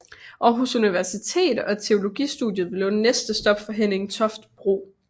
Aarhus Universitet og teologistudiet blev næste stop for Henning Toft Bro